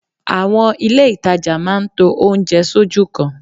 Àwọn ilé ìtajà máa ń to oúnjẹ sójú kan